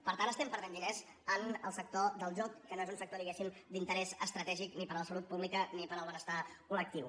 per tant estem perdent diners en el sector del joc que no és un sector diguéssim d’interès estratègic ni per a la salut pública ni per al benestar col·lectiu